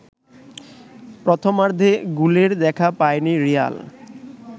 প্রথমার্ধে গোলের দেখা পায়নি রিয়াল